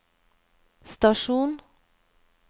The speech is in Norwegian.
stasjon